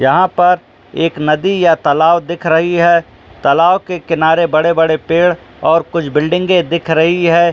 जहां पर एक नदी या तालाब दिख रही है तालाव के किनारे बड़े-बड़े पेड़ और कुछ बिल्डिंगे में दिख रही है।